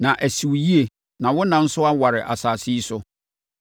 “na asi wo yie na wo nna nso aware asase yi so.”